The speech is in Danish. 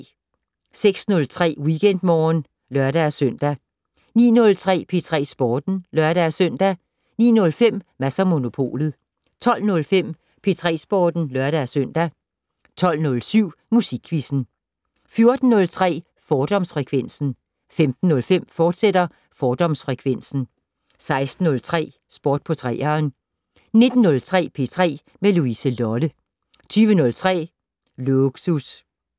06:03: WeekendMorgen (lør-søn) 09:03: P3 Sporten (lør-søn) 09:05: Mads & Monopolet 12:05: P3 Sporten (lør-søn) 12:07: Musikquizzen 14:03: Fordomsfrekvensen 15:05: Fordomsfrekvensen, fortsat 16:03: Sport på 3'eren 19:03: P3 med Louise Lolle 20:03: Lågsus